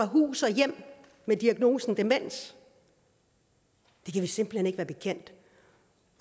hus og hjem med diagnosen demens det kan vi simpelt hen ikke være bekendt